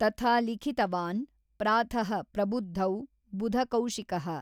ತಥಾ ಲಿಖಿತವಾನ್ ಪ್ರಾತಃ ಪ್ರಬುದ್ಧೌ ಬುಧಕೌಶಿಕಃ।